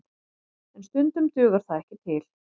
En stundum dugar það ekki til